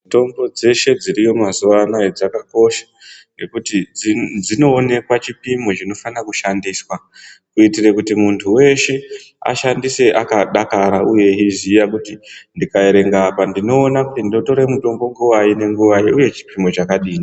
Mitombo dzeshe dziriyo mazuva anaya dzakakosha, ngekuti dzinoonekwa chipimo chinofana kushandiswa, kuitire kuti muntu weshe ashandise akadakara uye yeiziya kuti ndinga erenga apa ndinoona kuti ndotora mutombo nguvai nenguvai uye chipimo chakadini.